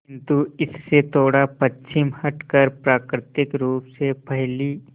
किंतु इससे थोड़ा पश्चिम हटकर प्राकृतिक रूप से फैली